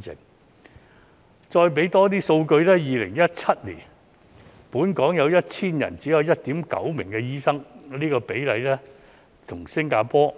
我再提供更多數據 ，2017 年本港每 1,000 人只有 1.9 個醫生，而新加坡